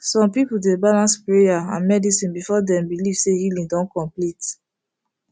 some people dey balance prayer and medicine before dem believe say healing don complete